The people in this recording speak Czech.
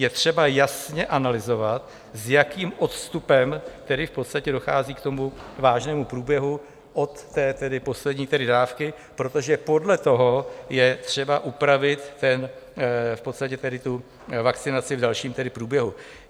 Je třeba jasně analyzovat, s jakým odstupem tedy v podstatě dochází k tomu vážnému průběhu od té poslední dávky, protože podle toho je třeba upravit v podstatě tu vakcinaci v dalším průběhu.